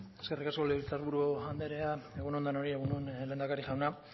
eskerrik asko legebiltzar buru anderea egun on denoi egun on lehendakari jauna